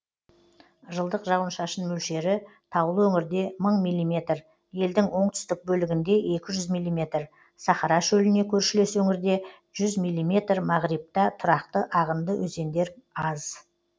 жылдық жауын шашын мөлшері таулы өңірде мың миллиметр елдің оңтұстік бөлігінде екі жүз миллиметр сахара шөліне көршілес өңірде жүз миллиметр мағрибта тұрақты ағынды өзендер аз